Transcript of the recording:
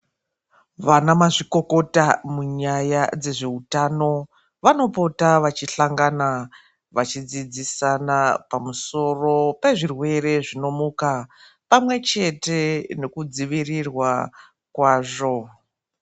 Vana mazvikokota munyaya dzezveutano, vanopota vachihlangana vachidzidzisana pamusoro pezvirwee zvinomuka, pamwechete nekudzivirirwa kwazvo.